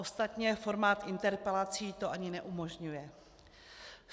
Ostatně formát interpelací to ani neumožňuje.